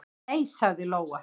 """Nei, sagði Lóa."""